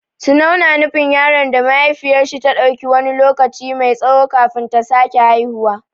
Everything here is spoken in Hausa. Tunau na nufin yaron da mahaifiyar shi ta ɗauki wani lokaci mai tsawo kafin ta sake haihuwa.